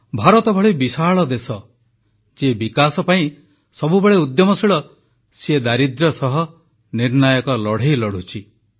ଭାରତ ଭଳି ବିଶାଳ ଦେଶ ଯିଏ ବିକାଶ ପାଇଁ ସବୁବେଳେ ଉଦ୍ୟମଶୀଳ ସିଏ ଦାରିଦ୍ର୍ୟ ସହ ନିର୍ଣ୍ଣାୟକ ଲଢ଼େଇ ଲଢ଼ୁଛି